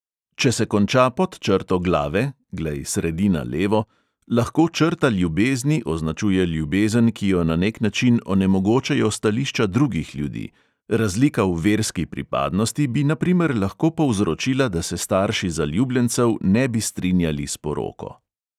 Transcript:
Če se konča pod črto glave (glej sredina levo), lahko črta ljubezni označuje ljubezen, ki jo na nek način onemogočajo stališča drugih ljudi: razlika v verski pripadnosti bi na primer lahko povzročila, da se starši zaljubljencev ne bi strinjali s poroko.